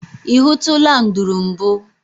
I hụtụla nduru mbụ?